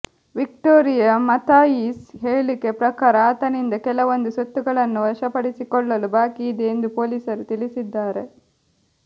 Victoria Mathias ಹೇಳಿಕೆ ಪ್ರಕಾರ ಆತನಿಂದ ಕೆಲವೊಂದು ಸೊತ್ತುಗಳನ್ನು ವಶಪಡಿಸಿಕೊಳ್ಳಲು ಬಾಕಿ ಇದೆ ಎಂದು ಪೊಲೀಸರು ತಿಳಿಸಿದ್ದಾರೆ